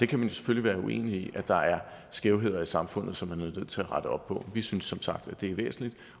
kan jo selvfølgelig være uenig i at der er skævheder i samfundet som man er nødt til at rette op på vi synes som sagt at det er væsentligt